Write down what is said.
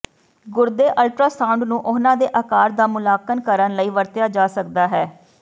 ਗੁਰਦੇ ਅਲਟਰਾਸਾਉਂਡ ਨੂੰ ਉਹਨਾਂ ਦੇ ਆਕਾਰ ਦਾ ਮੁਲਾਂਕਣ ਕਰਨ ਲਈ ਵਰਤਿਆ ਜਾ ਸਕਦਾ ਹੈ